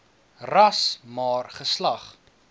ras maar geslag